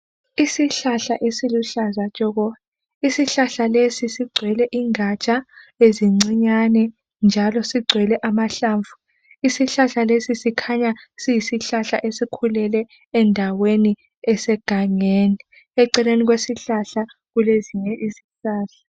Isihlahla esiluhlaza tshoko. Isihlahla lesi sigcwele ingatsha ezincinyane njalo sigcwele amahlamvu. Isihlahla lesi sikhanya siyisihlahla esikhulele endaweni esegangeni. Eceleni kwesihlahla kulezinye izihlahla.